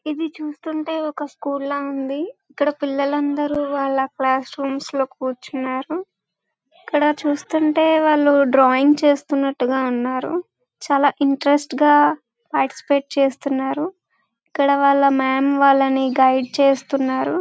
ఇది చూస్తుంటే ఒక స్కూల్ ల ఉంది. ఇక్కడ పిల్లలు అందరూ వాళ క్లాస్మేట్స్ తో కూర్చున్నారు. ఇక్కడ చూస్తుంటే వాలు డ్రాయింగ్ చేస్తునట్టు ఉన్నారు. చాలా ఇంట్రెస్ట్ గా పార్టిసిపేట చేస్తున్నారు. ఇక్కడ వాళ మాం వాలని గైడ్ చేస్తున్నారు.